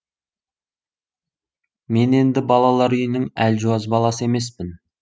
мен енді балалар үйінің әлжуаз баласы емеспін